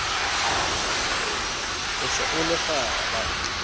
o se o le kgaba